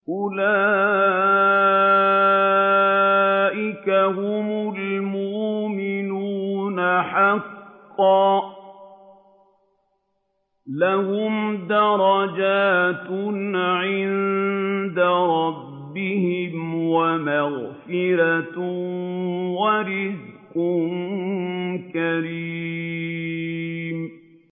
أُولَٰئِكَ هُمُ الْمُؤْمِنُونَ حَقًّا ۚ لَّهُمْ دَرَجَاتٌ عِندَ رَبِّهِمْ وَمَغْفِرَةٌ وَرِزْقٌ كَرِيمٌ